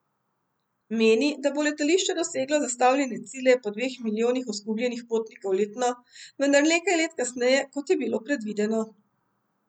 Meni, da bo letališče doseglo zastavljene cilje po dveh milijonih oskrbljenih potnikov letno, vendar nekaj let kasneje, kot je bilo predvideno.